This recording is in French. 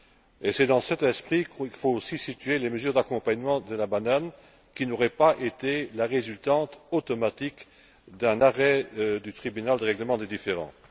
Et c'est dans cet esprit qu'il faut aussi situer les mesures d'accompagnement de la banane, qui n'auraient pas été la résultante automatique d'un arrêt du tribunal de règlement des différends.